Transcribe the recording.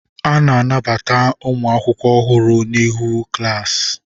A na-anabata ụmụ akwụkwọ ọhụrụ niile n'ihu klaasi.